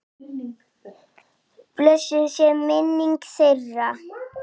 Blessuð sé minning þeirra.